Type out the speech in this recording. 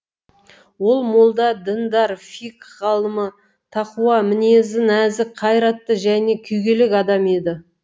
ол молда діндар фикх ғалымы тақуа мінезі нәзік қайратты және күйгелек адам еді